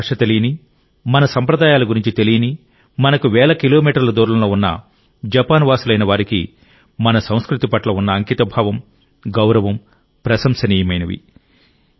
మన భాష తెలియని మన సంప్రదాయాల గురించి తెలియని మనకు వేల కిలోమీటర్ల దూరంలో ఉన్న జపాన్ వాసులైన వారికి మన సంస్కృతి పట్ల ఉన్న అంకితభావం గౌరవం ప్రశంసనీయమైనవి